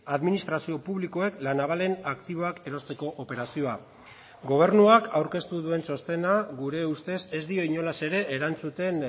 administrazio publikoek la navalen aktiboak erosteko operazioa gobernuak aurkeztu duen txostena gure ustez ez dio inolaz ere erantzuten